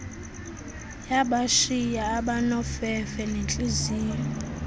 yabashiya abanofefe nentliziyo